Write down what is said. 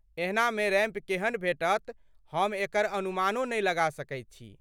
एहनामे ramp केहन भेटत हम एकर अनुमानो नहि लगा सकैत छी।